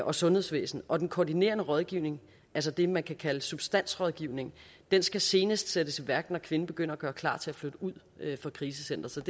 og sundhedsvæsen og den koordinerende rådgivning altså det man kan kalde substansrådgivning skal senest sættes i værk når kvinden begynder at gøre klar til at flytte ud fra krisecenteret